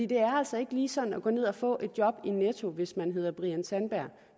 det er altså ikke lige sådan at gå ned og få et job i netto hvis man hedder brian sandberg